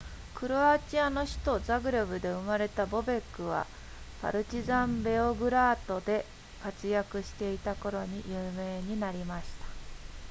クロアチアの首都ザグレブで生まれたボベックはパルチザンベオグラードで活躍していた頃に有名になりました